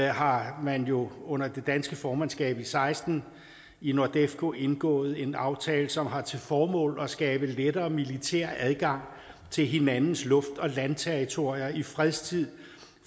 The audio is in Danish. har man jo under det danske formandskab i seksten i nordefco indgået en aftale som har til formål at skabe lettere militær adgang til hinandens luft og landterritorier i fredstid